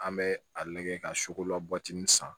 An bɛ a lajɛ ka sokola bɔtinin san